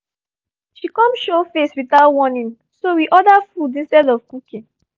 she come show face without warning so we order food instead of cooking